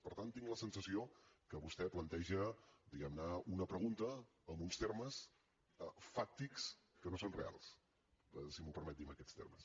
per tant tinc la sensació que vostè planteja diguem ne una pregunta en uns termes fàctics que no són reals si m’ho permet dir amb aquests termes